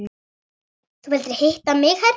Þú vildir hitta mig herra?